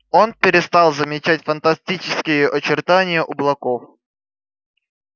он перестал замечать фантастические очертания облаков